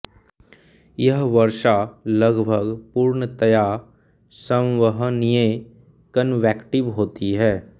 यह वर्षा लगभग पूर्णतया संवहनीय कनवेक्टिव होती है